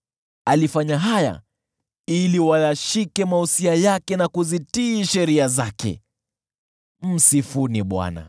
alifanya haya ili wayashike mausia yake na kuzitii sheria zake. Msifuni Bwana .